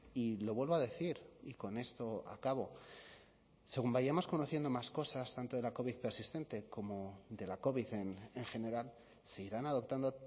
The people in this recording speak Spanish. y lo vuelvo a decir y con esto acabo según vayamos conociendo más cosas tanto de la covid persistente como de la covid en general se irán adoptando